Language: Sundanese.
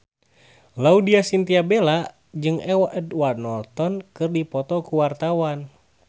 Laudya Chintya Bella jeung Edward Norton keur dipoto ku wartawan